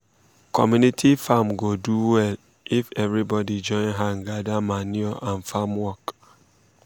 community farm go do well um if everybody join hand gather manure and farm work. um